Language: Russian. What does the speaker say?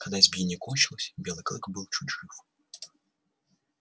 когда избиение кончилось белый клык был чуть жив